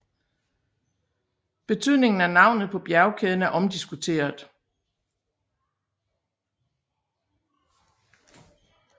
Betydningen af navnet på bjergkæden er omdiskuteret